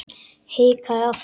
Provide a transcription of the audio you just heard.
Hikaði aftur.